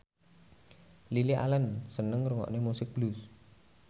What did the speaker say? Lily Allen seneng ngrungokne musik blues